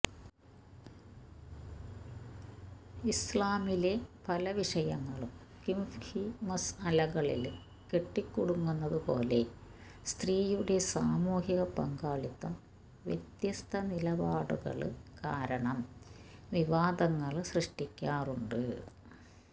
ഇസ്ലാമിലെ പല വിഷയങ്ങളും ഫിഖ്ഹീ മസ്അലകളില് കെട്ടിക്കുടുങ്ങുന്നത് പോലെ സ്ത്രീയുടെ സാമൂഹിക പങ്കാളിത്തം വ്യത്യസ്ത നിലപാടുകള് കാരണം വിവാദങ്ങള് സൃഷ്ടിക്കാറുണ്ട്